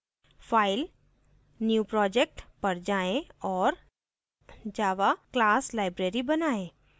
file> new project पर जाएँ और java class library बनाएँ